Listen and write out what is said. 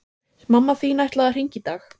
Mamma þín ætlaði að hringja í dag